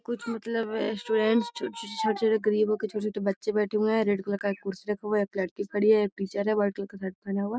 कुछ मतलब ए स्टूडेंट्स छो-छो छोटे-छोटे गरीबों के छोटे-छोटे बच्चे बैठे हुए हैं रेड कलर का एक कुर्सी रखा हुआ है एक लड़की खड़ी है एक टीचर है वाइट कलर का शर्ट पहना हुआ।